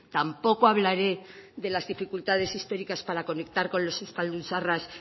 tampoco hablaré de las dificultades históricas para conectar con los euskaldun zaharraz